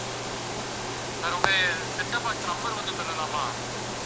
sir உங்க set-top box number கொஞ்சம் சொல்லலாமா?